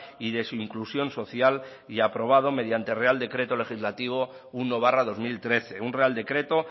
y de su inclusión social y aprobado mediante real decreto legislativo uno barra dos mil trece un real decreto